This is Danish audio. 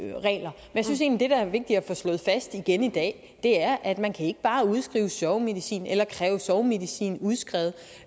få slået fast igen i dag er at man ikke bare kan udskrive sovemedicin eller kræve sovemedicin udskrevet